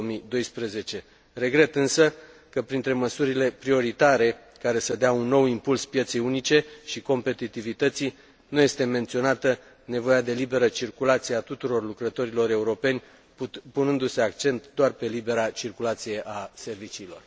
2012. Regret însă că, printre măsurile prioritare, care să dea un nou impuls pieței unice și competitivității, nu este menționată nevoia de liberă circulație a tuturor lucrătorilor europeni, punându se accent doar pe libera circulație a serviciilor.